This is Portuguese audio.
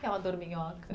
o que é uma dorminhoca?